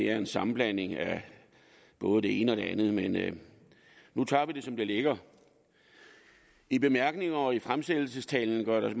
er en sammenblanding af både det ene og det andet men nu tager vi det som det ligger i bemærkningerne til lovforslaget og i fremsættelsestalen gøres